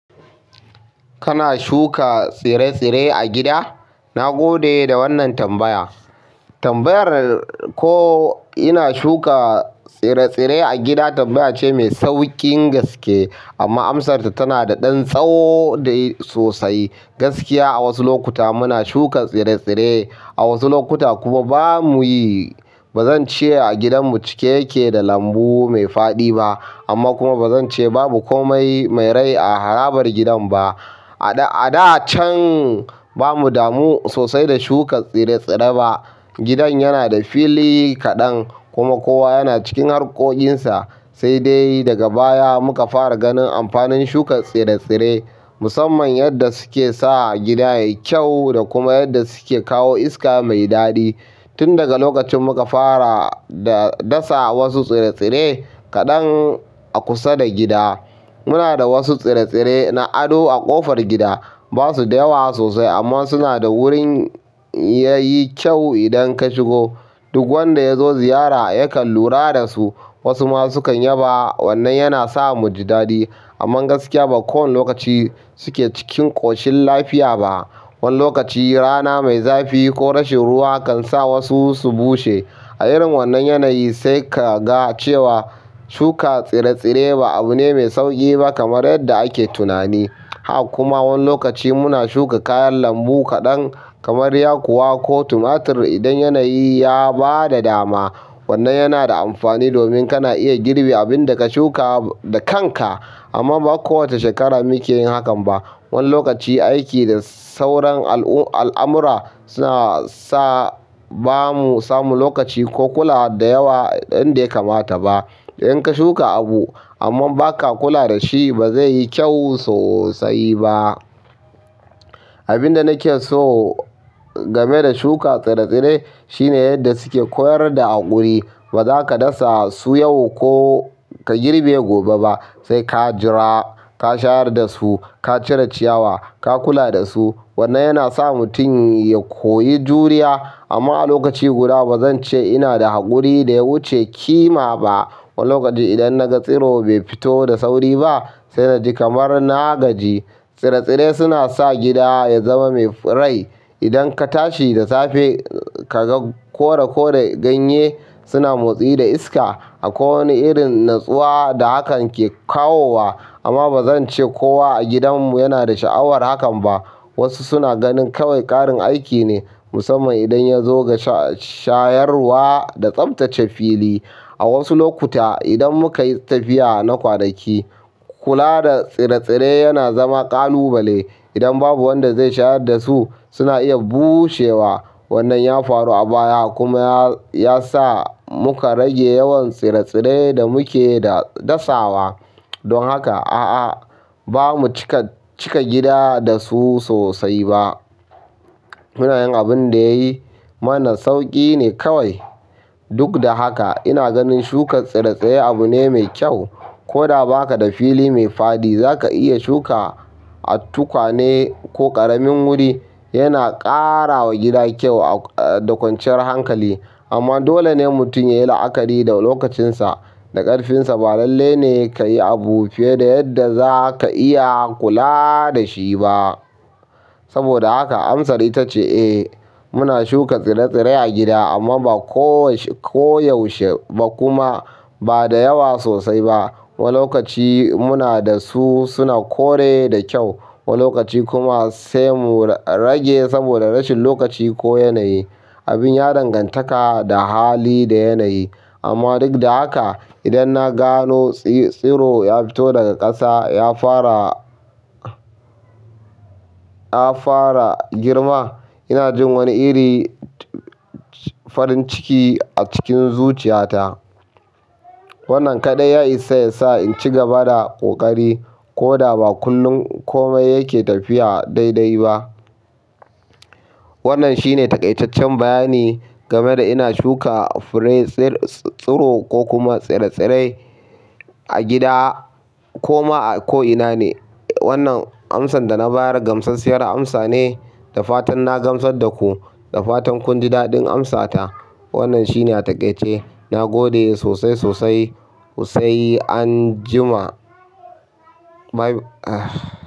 Kana shuka tsire-tsire a gida? Na gode da wannan tambaya. Tambayar ko ina shuka tsire-tsire a gida tambaya ce mai sauƙin gaske amma amsarta tana da ɗan tsawo da yayi sosai. Gaskiya a wasu lokuta muna shuka tsire-tsire, a wasu lokuta kuma ba mu yi. Ba zan ce a gidanmu cike yake da lambu mai faɗi ba amma kuma ba zan ce babu kome mai rai a harabar gidan ba a da can ba mu damu sosai da shuka tsire-tsire ba. Gidan yana da fili kaɗan kuma kowa yana cikin harkokinsa. Sai dai daga baya muka fara ganin amfanin shuka tsire-tsire musamman yadda suke sa gida yayi kyau da kuma yadda suke kawo iska mai daɗi. Tun daga lokacin muka fara da dasa wasu tsire-tsire kaɗan a kusa da gida. Muna da wasu tsire-tsire na ado a ƙofar gida. Ba su da yawa sosai amma suna da wurin yayi kyau idan ka shigo. Duk wanda ya zo ziyara yakan lura da su. Wasu ma sukan yaba. Wannan yana sa mu ji daɗi. Amman gaskiya ba kowane lokaci suke cikin ƙoshin lafiya ba. Wani lokaci rana mai zafi ko rashin ruwa kan sa wasu su bushe. A irin wannan yanayi sai ka ga cewa shuka tsire-tsire ba abu ne mai sauƙi ba kamar yadda ake tunani. Haka kuma wani lokaci muna shuka kayan lambu kaɗan kamar yakuwa ko tumatur idan yanayi ya bada dama. Wannan yana da amfani domin kana iya girbi abin da ka shuka da kanka. Amma ba kowace shekara muke yin hakan ba. Wani lokaci aiki da sauran al'amura suna sa ba mu samu lokaci ko kulawa da yawa yanda ya kamata ba. Idan ka shuka abu amma ba ka kula da shi ba zai yi kyau sosai ba. Abin da nake so game da shuka tsire-tsire shine yadda suke koyar da haƙuri. Ba za ka dasa su yau ko ka girbe gobe ba. Sai ka jira, ka shayar da su, ka cire ciyawa, ka kula da su. Wannan yana sa mutum ya koyi juriya. Amma a lokaci guda ba zan ce ina da haƙuri da ya wuce ƙima ba. Wani lokaci idan na ga tsiro bai fito da sauri ba sai na ji kamar na gaji. Tsire-tsire suna sa gida ya zama mai rai. Idan ka tashi da safe ka ga kore-kore ganye suna motsi da iska akwai wani irin natsuwa da hakan ke kawowa. Amma ba zan ce kowa a gidanmu yana da sha'awar hakan ba. Wasu suna ganin kawai ƙarin aiki ne musamman idan ya zo ga shayarwa da tsaftace fili. A wasu lokuta idan muka yi tafiya na kwanaki kula da tsire-tsire yana zama ƙalubale. Idan babu wanda zai shayar da su suna iya bushewa. Wannan ya faru a baya kuma ya sa muka rage yawan tsire-tsire da muke dasawa. Don haka a'a ba mu cika gida da su sosai ba. Muna yin abin da ya yi mana sauƙi ne kawai. Duk da haka ina ganin shuka tsire-tsire abu ne mai kyau. Koda ba ka da fili mai faɗi za ka iya shuka a tukwane ko ƙaramin wuri. Yana ƙara wa gida kyau da kwanciyar hankali. Amma dole ne mutum ya yi la'akari da lokacinsa da ƙarfinsa. Ba lalle ne ka yi abu fiye da yadda za ka iya kula da shi ba. Saboda haka amsar ita ce eh muna shuka tsire-tsire a gida amma ba koyaushe ba kuma ba da yawa sosai ba. Wani lokaci muna da su suna kore da kyau. Wani lokaci kuma sai mu rage saboda rashin lokaci ko yanayi. Abin ya danganta da hali da yanayi. Amma duk da haka idan na gano tsiro ya fito daga ƙasa ya fara, ta fara girma ina jin wani iri farin ciki a cikin zuciya ta wannan kaɗai ya isa yasa in cigaba da ƙoƙari koda ba kullum komai yake tafiya dai-dai ba wannan shine taƙaitaccen bayani game da ina shuka tsire-tsiro ko kuma tsire-tsire a gida ko ma a ko'ina ne. Wannan amsan da na bayar gamsassiyar amsa ne. Da fatan na gamsar da ku, da fatan kun ji daɗin amsata. Wannan shi ne a taƙaice. Na gode sosai, sosai, sosai anjima.